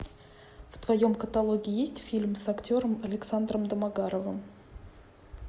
в твоем каталоге есть фильм с актером александром домогаровым